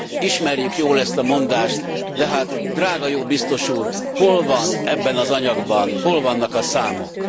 Ismerjük jól ezt a mondást, de hát drága jó Biztos úr, hol van ebben az anyagban, hol vannak a számok?